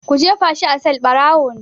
Ku jefa shi a sel!barawo ne.